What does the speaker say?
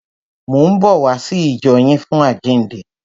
Mò ń bọ̀ wá sí ìjọ yín fún àjíǹde.